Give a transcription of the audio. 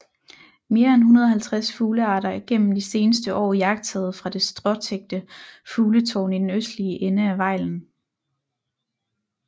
Mere end 150 fuglearter er gennem de seneste år iagttaget fra det stråtækte fugletårn i den østlige ende af Vejlen